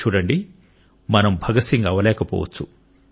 చూడండి మనం భగత్ సింగ్ అవ్వలేకపోవచ్చు